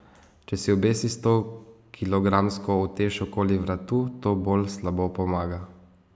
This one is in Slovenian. Če si obesi stokilogramsko utež okoli vratu, to bolj slabo pomaga.